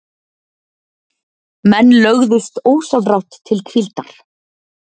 Menn lögðust ósjálfrátt til hvíldar.